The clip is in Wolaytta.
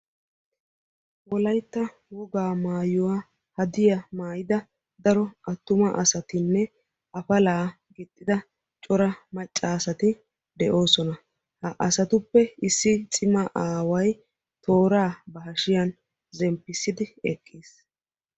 Wolaytta wogaa maayuwaa hadiyaa mayida daro attuma asatinne apalaa gixxida cora macca asati de'oosona. ha asatuppe issi cima aaway tooraa ba hashshiyaan zemppissidi eqqiis.